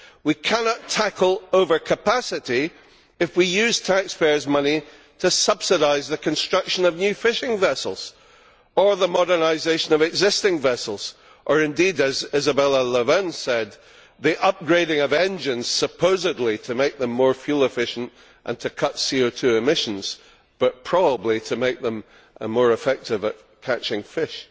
We cannot tackle overcapacity if we use taxpayers' money to subsidise the construction of new fishing vessels or the modernisation of existing vessels or indeed, as Isabella Lövin said, the upgrading of engines, supposedly to make them more fuel efficient and to cut CO 2 emissions but probably to make them more effective at catching fish.